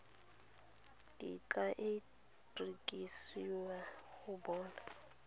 kitla e rekisiwa go bona